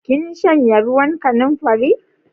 Kin shanye ruwan kanamfari?